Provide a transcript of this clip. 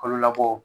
Kalo labɔ